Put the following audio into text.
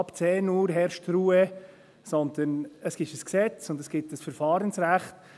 «Ab 10 Uhr herrscht Ruhe.» – sondern es handelt sich um ein Gesetz und es gibt ein Verfahrensrecht.